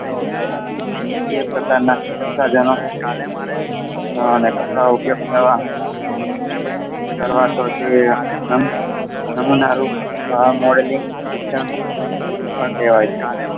એ પ્રકારના પ્રસાધનો, આને કપડાં ઉપયોગ કરવા શિક્ષણ કહેવાય છે.